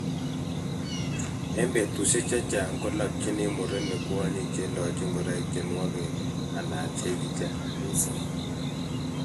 eng betusiek chechang kolopchini murenik kwonyik cheilochi ngoroik che nuok anan cheikichi mising